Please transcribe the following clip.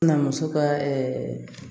Na muso ka